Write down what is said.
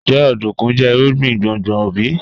Njẹ ọdunkun jẹ irugbin gbongbo bi?